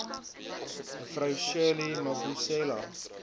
me shirley mabusela